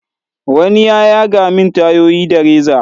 wani ya yaga min tayoyi da reza.